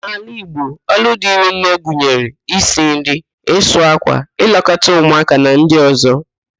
N'ala Igbo, ọrụ dịrị nne gụnyere: isi nri, ịsụ ákwà, ịlekọta ụmụáká na ndị ọ̀zọ́